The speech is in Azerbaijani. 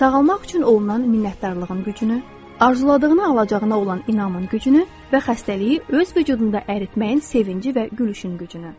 Sağalmaq üçün olunan minnətdarlığın gücünü, arzuladığına alacağına olan inamın gücünü və xəstəliyi öz vücudunda əritməyin sevinci və gülüşün gücünü.